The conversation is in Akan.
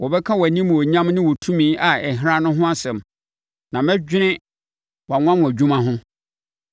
Wɔbɛka wʼanimuonyam ne wo tumi a ɛhran no ho asɛm, na mɛdwene wʼanwanwadwuma ho.